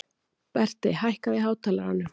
Berti, hækkaðu í hátalaranum.